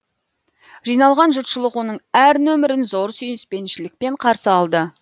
жиналған жұртшылық оның әр нөмірін зор сүйіспеншілікпен қарсы алды